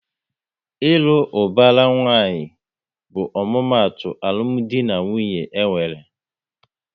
Ịlụ ubara nwanyi bụ omumatu alụmdi na nwunye enwere